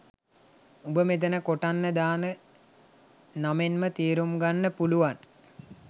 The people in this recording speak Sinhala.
උඹ මෙතන කොටන්න දාන නමෙන්ම තේරුම් ගන්න පුළුවන්